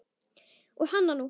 Og hananú!